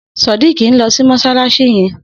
Sodiq n lò sí mọṣalaṣi yèn